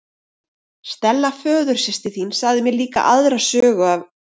Stella föðursystir þín sagði mér líka aðra sögu af